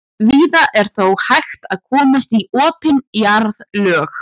víða er þó hægt að komast í opin jarðlög